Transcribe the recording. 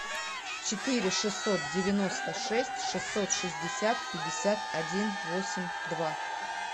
четыре шестьсот девяносто шесть шестьсот шестьдесят пятьдесят один восемь два